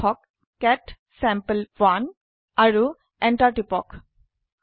লিখক কেট sample1আৰু এন্টাৰ টিপক